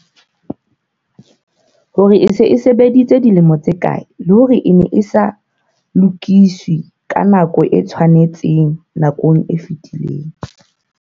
hore e se e sebeditse dilemo tse kae, le hore e ne e sa lokiswe ka nako e tshwanetseng nakong e fetileng.